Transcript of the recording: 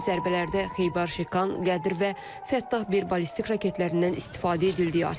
Zərbələrdə Xeybar Şikan, Qədir və Fəttah bir ballistik raketlərindən istifadə edildiyi açıqlanıb.